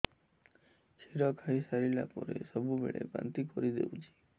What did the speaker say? କ୍ଷୀର ଖାଇସାରିଲା ପରେ ସବୁବେଳେ ବାନ୍ତି କରିଦେଉଛି